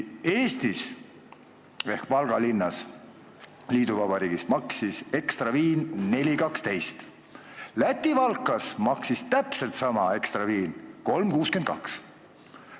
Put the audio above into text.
Eestis Valga linnas, liiduvabariigis, maksis Ekstra viin 4.12, Läti Valkas maksis täpselt sama Ekstra viin 3.62.